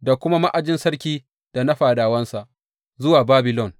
da kuma ma’ajin sarki da na fadawansa zuwa Babilon.